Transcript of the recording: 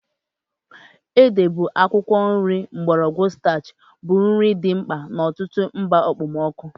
Ede bụ akwụkwọ nri mgbọrọgwụ starchy bụ nri dị mkpa n'ọtụtụ mba okpomọkụ.